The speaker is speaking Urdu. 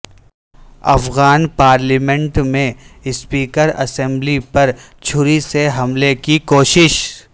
افغان پارلیمنٹ میں اسپیکراسمبلی پر چھری سے حملے کی کوشش